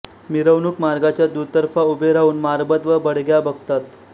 मिरवणूक मार्गाच्या दुतर्फा उभे राहून मारबत व बडग्या बघतात